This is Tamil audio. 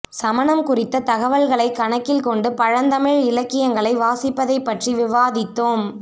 சமணம் குறித்த தகவல்களை கணக்கில் கொண்டு பழந்தமிழ் இலக்கியங்களை வாசிப்பதைப்பற்றி விவாதித்தோம்